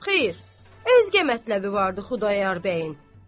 Xeyr, özgə mətləbi var idi Xudayar bəyin.